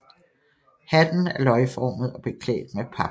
Hatten er løgformet og beklædt med pap